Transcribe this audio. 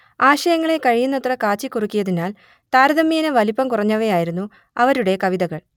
ആശയങ്ങളെ കഴിയുന്നത്ര കാച്ചിക്കുറുക്കിയതിനാൽ താരതമ്യേന വലിപ്പം കുറഞ്ഞവയായിരുന്നു അവരുടെ കവിതകൾ